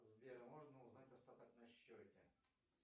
сбер можно узнать остаток на счете